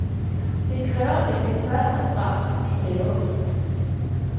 Det kræver nemlig først og fremmest en lavere pris.